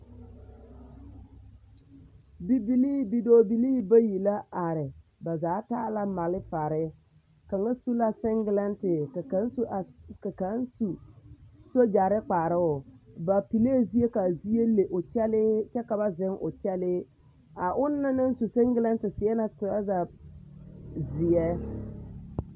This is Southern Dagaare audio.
Bibilii bidɔɔbilii bayi la are ba zaa taa la malifare, kaŋa su la sengelɛnte ka kaŋ su sogyɛare kparoo, ba pillee zie k'a zie le o kyɛlee kyɛ ka ba zeŋ o kyɛlee, a onaŋ na naŋ su sengelɛnte seɛ la toraza zeɛ.